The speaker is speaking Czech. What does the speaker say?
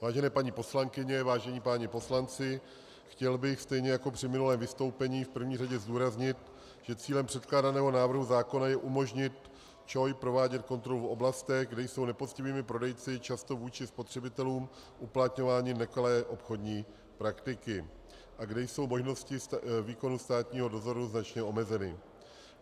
Vážené paní poslankyně, vážení páni poslanci, chtěl bych stejně jako při minulém vystoupení v první řadě zdůraznit, že cílem předkládaného návrhu zákona je umožnit ČOI provádět kontrolu v oblastech, kde jsou nepoctivými prodejci často vůči spotřebitelům uplatňovány nekalé obchodní praktiky a kde jsou možnosti výkonu státního dozoru značně omezeny.